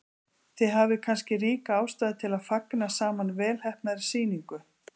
Þið hafið kannski ríka ástæðu til að fagna saman velheppnaðri sýningu.